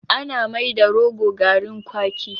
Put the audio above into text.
Ana mai da rogo garrin kwaki